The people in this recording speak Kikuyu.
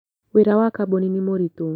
Wĩra wa kambuni nĩ mũritũ